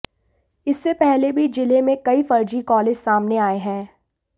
इससे पहले भी जिले में कई फर्जी कॉलेज सामने आए हैं